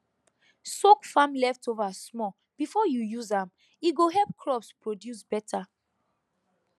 soak farm leftover small before you use am e go help crops produce better